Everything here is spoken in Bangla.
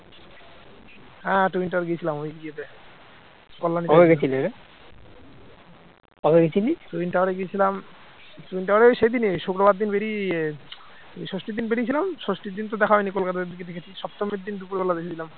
ষষ্ঠীর দিন বেরিয়েছিলাম ষষ্ঠীর দিন তো দেখা হয়নি কলকাতার দিকে দেখেছি, সপ্তমীর দিন দুপুরবেলা দেখেছিলাম